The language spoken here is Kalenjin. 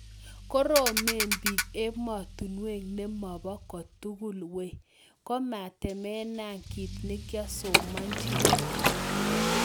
Koromen piik emonotok nemopoo kotugul wei. kimetemena kiit nekiasomanchini